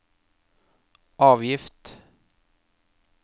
avgift